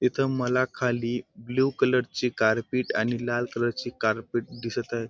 इथं मला खाली ब्लू कलर ची कार्पेट आणि लाल कलरची कार्पेट दिसत आहे.